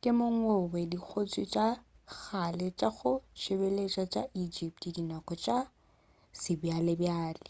ke wo mongwe wa dikgotši tša kgale tša go tsebalega tša egypt dinako tša sebjalebjale